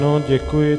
Ano, děkuji.